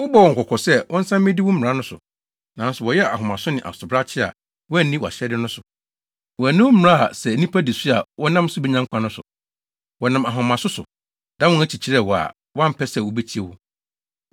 “Wobɔɔ wɔn kɔkɔ sɛ wɔnsan mmedi wo mmara no so, nanso wɔyɛɛ ahomaso ne asobrakye a wɔanni wʼahyɛde no so. Wɔanni wo mmara a sɛ nnipa di so a wɔnam so benya nkwa no so. Wɔnam ahomaso so, dan wɔn akyi kyerɛɛ wo a wɔampɛ sɛ wobetie wo.